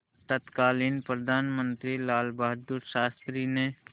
तत्कालीन प्रधानमंत्री लालबहादुर शास्त्री ने